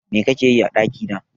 Me kake yi a ɗakina?